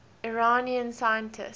iranian scientists